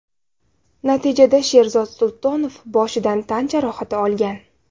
Natijada Sherzod Sultonov boshidan tan jarohati olgan.